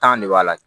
de b'a la